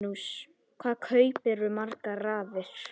Magnús: Hvað kaupirðu margar raðir?